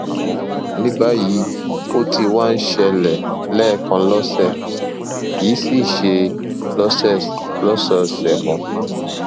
àmọ ní báyìí ó ti wá ń ṣẹlẹ lẹẹkan lọsẹ kìí sìí ṣe lọsọọsẹ mọ